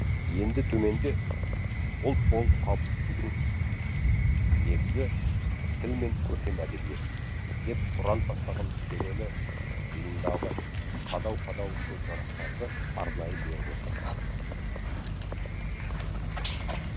енді төменде ұлт болып қалыптасудың негізі тіл мен көркем әдебиет деп ұран тастаған келелі жиындағы қадау қадау көзқарастарды арнайы беріп отырмыз